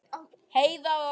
Heiða og